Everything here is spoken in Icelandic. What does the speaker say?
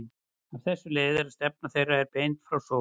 Af þessu leiðir að stefna þeirra er beint frá sól.